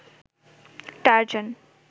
Tarzan